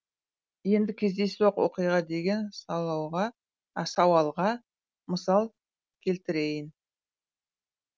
енді кездейсоқ оқиға деген сауалға мысал келтірейін